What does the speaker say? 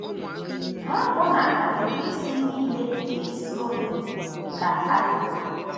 Ma ọbụna agịrị isi nile nke isi unu ka a gụworo.